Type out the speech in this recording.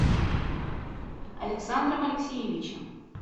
александром алексеевичем